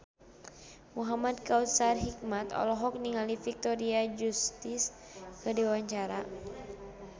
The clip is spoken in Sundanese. Muhamad Kautsar Hikmat olohok ningali Victoria Justice keur diwawancara